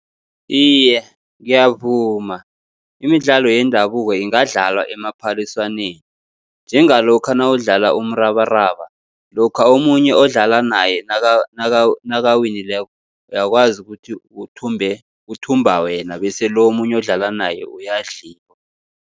Iye, ngiyavuma imidlalo yendabuko ingadlalwa emaphaliswaneni, njengalokha nawudlala umrabaraba, lokha omunye odlala naye nakawinileko uyakwazi ukuthi uthumbe, kuthumba wena bese lo omunye odlala naye uyadliwa.